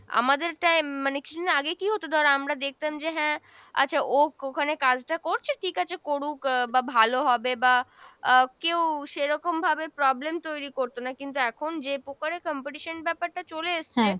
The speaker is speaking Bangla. আমাদের time মানে কিছুদিন আগে কী হতো ধর আমরা দেখতাম যে হ্যাঁ আচ্ছা ও ওখানে কাজটা করছে ঠিক আছে করুক আহ বা ভালো হবে বা আহ কেও সেরকম ভাবে problem তৈরি করতো না, কিন্তু এখন যে প্রকারে competition ব্যাপারটা চলে এসছে